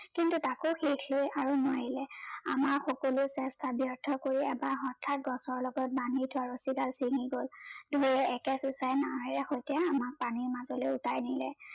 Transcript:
কিন্তু তাকো হেখে আৰু নোৱাৰিলে আমাৰ সকলো চেষ্টা ব‍্যৰ্থ কৰি এবাৰ হঠাৎ গছৰ লগত বান্ধি থোৱা ৰচি ডাল চিঙি গল ঢৌৱে একে চোচাই নাওৱে সৈতে আমাক পানীৰ মাজলে উতাই নিলে